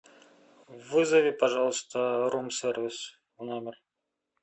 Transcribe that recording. вызови пожалуйста рум сервис в номер